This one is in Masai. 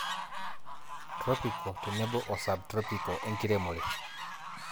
tropical tenebo o subtropical enkiremore